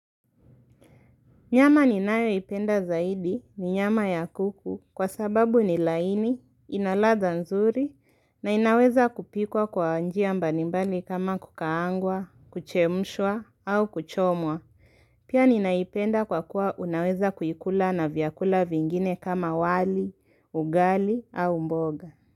Nyama ninayo ipenda zaidi ni nyama ya kuku kwa sababu ni laini, inaladha nzuri na inaweza kupikwa kwa njia mbalimbali kama kukaangwa, kuchemshwa au kuchomwa. Pia ninaipenda kwa kuwa unaweza kuikula na vyakula vingine kama wali, ugali au mboga.